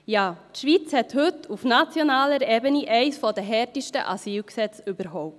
Ja, die Schweiz hat heute auf nationaler Ebene eins der härtesten Asylgesetze überhaupt.